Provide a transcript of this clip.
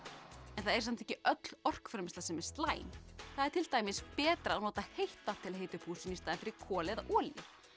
það er samt ekki öll orkuframleiðsla slæm það er til dæmis betra að nota heitt vatn til að hita upp húsin í staðinn fyrir kol eða olíu